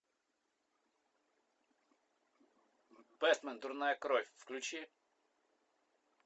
бэтмен дурная кровь включи